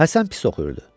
Həsən pis oxuyurdu.